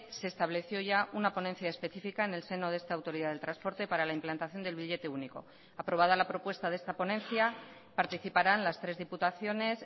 se estableció ya una ponencia específica en el seno de esta autoridad del transporte para la implantación del billete único aprobada la propuesta de esta ponencia participarán las tres diputaciones